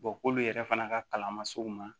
k'olu yɛrɛ fana ka kalan ma se u ma